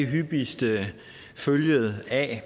hyppigste følge af